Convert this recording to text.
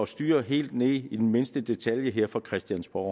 styring helt ned i mindste detalje her fra christiansborg